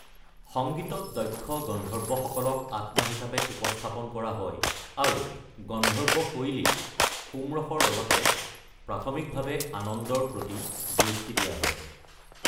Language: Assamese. সংগীতত দক্ষ গন্ধৰ্বসকলক আত্মা হিচাপে উপস্থাপন কৰা হয়, আৰু গন্ধৰ্ব শৈলীত সোম ৰসৰ লগতে প্ৰাথমিকভাৱে আনন্দৰ প্ৰতি দৃষ্টি দিয়া হয়।